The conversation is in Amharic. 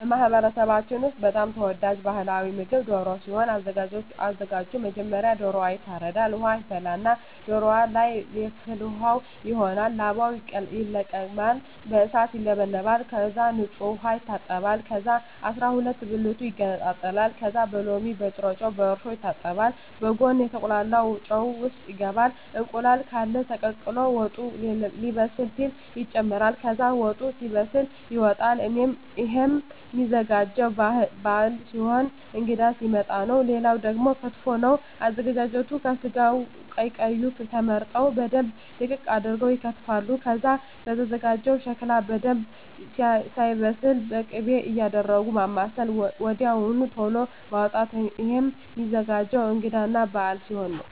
በማህበረሰባችን ውስጥ በጣም ተወዳጅ ባህላዊ ምግብ ደሮ ሲሆን አዘጋጁ መጀመሪያ ዶሮዎ ይታረዳል ውሃ ይፈላና ዶሮዎ ለይ ፍል ውሃው ይሆናል ላባው ይለቀማል በእሳት ይውለበለባል ከዛ በንጹህ ዉሃ ይታጠባል ከዛ አስራሁለት ብልቱ ይገነጣጠላል ከዛ በሎሚ በጭረጮ በእርሾ ይታጠባል በጉን ከተቁላላው ጨው ውሰጥ ይገባል እንቁላል ቃለ ተቀቅሎ ወጡ ሌበስል ሲል ይጨምራል ከዛ ወጡ ሲበስል ይወጣል እሄም ሚዘጋጀው ባህል ሲሆን እንግዳ ሲመጣ ነው ሌላው ደግሞ ክትፎ ነው አዘገጃጀቱ ከስጋው ቀይ ቀዩ ተመርጠው በደንብ ድቅቅ አርገው ይከተፋል ከዛ ከተዘጋጀው ሸክላ በደንብ ሳይበስል ክቤ እያረጉ ማማሰል ወድያው ተሎ ማዉጣት እሄም ሚዘገጀው እንግዳ እና በአል ሲሆን ነው